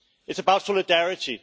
It is about solidarity.